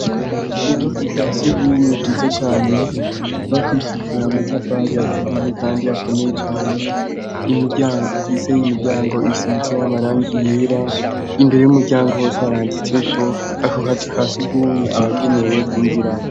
Ubuzu bwa surwumwe bwiza cane bwubakishijwe amacafari aturiye kandi akomeye cane. Imiryango bufise n'imiryango isize amarangi yera, imbere y'umuryango hose haranditseko ako kazu ka surwumwe abagenewe kwinjiramwo.